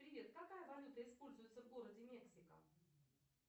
привет какая валюта используется в городе мексика